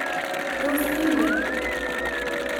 Tos ingen?